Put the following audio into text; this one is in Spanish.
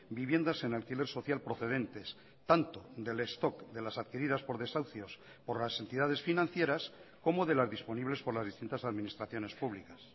viviendas en alquiler social procedentes tanto del stock de las adquiridas por desahucios por las entidades financieras como de las disponibles por las distintas administraciones públicas